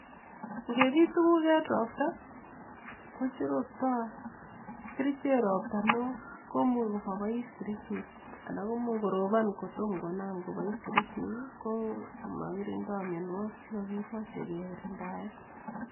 Ngepiit tuguk en ropta kochororto kerichek ropta newoo komuch komopois kerichek anan komuch koropon kotom konam kopois kerichek ko makirindoi mianwogiik chekakimoche kegirindaen